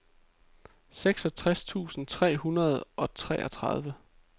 seksogtres tusind tre hundrede og treogtredive